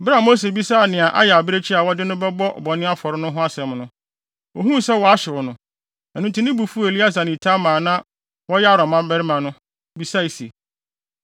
Bere a Mose bisaa nea ayɛ abirekyi a wɔde no bɛbɔ bɔne afɔre no ho asɛm no, ohuu sɛ wɔahyew no. Ɛno nti, ne bo fuw Eleasar ne Itamar a na wɔyɛ Aaron mmabarima no, bisae se,